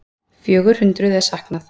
Fjögur hundruð er saknað.